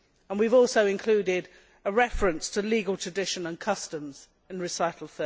We have also included a reference to legal tradition and customs in Recital